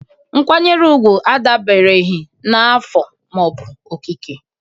Nkwanyere ugwu adabereghị na afọ ma ọ bụ okike